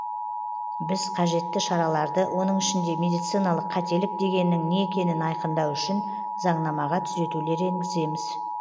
біз қажетті шараларды оның ішінде медициналық қателік дегеннің не екенін айқындау үшін заңнамаға түзетулер енгіземіз